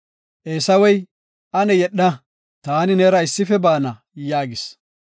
Eesawey, “Ane yedha, taani neera issife baana” yaagis.